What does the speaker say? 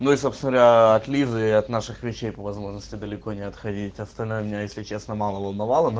ну и собственно говоря от лизы и от наших врачей по возможности далеко не отходить остальное меня если честно мало волновало